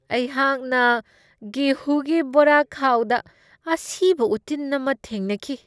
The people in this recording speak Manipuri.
ꯑꯩꯍꯥꯛꯅ ꯒꯦꯍꯨꯒꯤ ꯕꯣꯔꯥꯈꯥꯎꯗ ꯑꯁꯤꯕ ꯎꯇꯤꯟ ꯑꯃ ꯊꯦꯡꯅꯈꯤ꯫